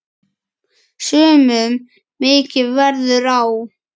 Sumum mikið verður á.